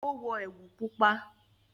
o wọ ẹwu pupa.